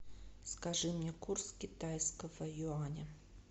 скажи мне курс китайского юаня